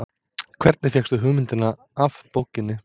Hvernig fékkstu hugmyndina af bókinni?